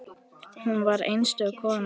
Hún var einstök kona.